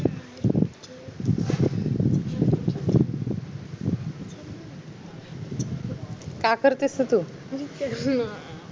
काय करतेस म तू